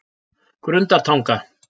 Grundartanga